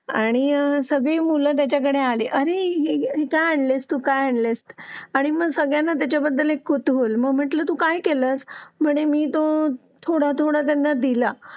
सगळी मुले त्याच्याकडे आलीअरे तू काय आणलं हे काय आणलंय आणि सगळ्यांना त्याच्याबद्दल कुतूहल मग म्हटलं तू काय केलं म्हण मी तो थोडा थोडा सगळ्यांना दिला